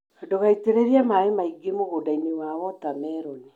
Ndũgaitĩrĩrie maĩ maingĩ mũgũndainĩ wa wota meroni.